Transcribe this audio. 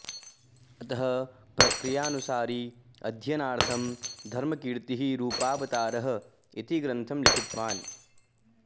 अतः प्रक्रियानुसारी अध्ययनार्थं धर्मकीर्तिः रूपावतारः इति ग्रन्थं लिखितवान्